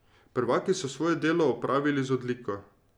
Prvaki so svoje delo opravili z odliko.